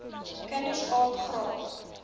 kinders aap graag